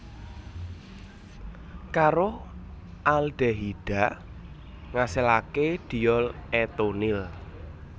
Karo aldehida ngasilaké diol etunil